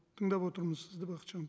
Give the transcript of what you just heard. тыңдап отырмыз сізді бақытжан